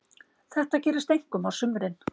Þetta gerist einkum á sumrin.